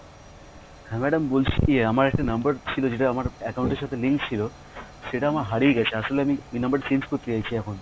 হ্যাঁ madam বলছি আমার একটা number ছিল যেটা আমার account এর সাথে link ছিল সেটা আমার হারিয়ে গেছে আসলে আমি ওই number টা change করতে চাইছি এখন